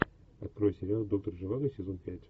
открой сериал доктор живаго сезон пять